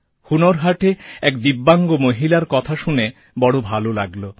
হুনার হাটে এক দিব্যাঙ্গ মহিলার কথা শুনে বড় ভালো লাগল